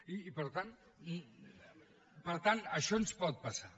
i per tant això ens pot passar